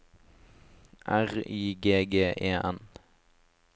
R Y G G E N